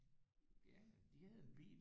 Ja de havde en bil de havde en